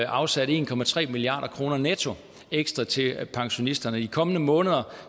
afsat en milliard kroner netto ekstra til pensionisterne i de kommende måneder